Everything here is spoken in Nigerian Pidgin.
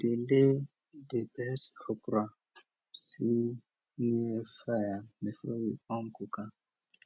we dey lay di best okra see near fire before we com cook am